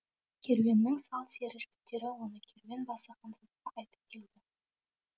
керуеннің сал сері жігіттері оны керуен басы ханзадаға айтып келді